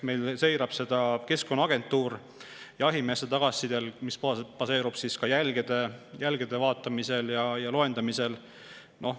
Meil seirab seda Keskkonnaagentuur jahimeeste tagasiside põhjal, mis baseerub ka jälgede vaatamisel ja loendamisel.